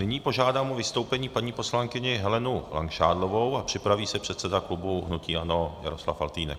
Nyní požádám o vystoupení paní poslankyni Helenu Langšádlovou a připraví se předseda klubu hnutí ANO Jaroslav Faltýnek.